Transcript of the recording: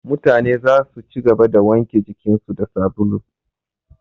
Mutane zasu ci gaba da wanke jikin su da sabulu